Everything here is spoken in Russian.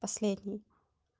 последний